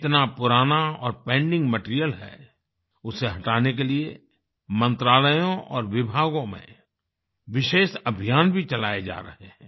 जितना पुराना और पेंडिंग मटीरियल है उसे हटाने के लिए मंत्रालयों और विभागों में विशेष अभियान भी चलाए जा रहे हैं